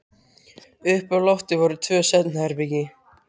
Uppi á lofti voru tvö svefnherbergi.